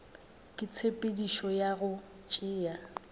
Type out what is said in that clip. ka tshepedišo ya go tšea